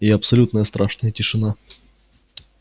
и абсолютная страшная тишина